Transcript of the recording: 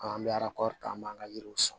An bɛ ala ka an b'an ka yiriw sɔn